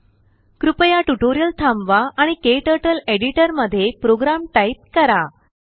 कृपयाट्यूटोरियल थांबवा आणिKTurtleएडिटरमध्ये program type करा